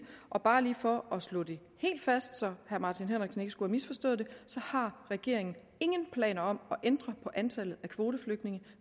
bare lige for at slå det helt fast så herre martin henriksen ikke misforstår det så har regeringen ingen planer om at ændre på antallet af kvoteflygtninge